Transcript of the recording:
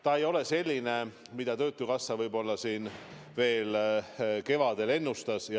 See ei ole nii suur, nagu töötukassa kevadel ennustas.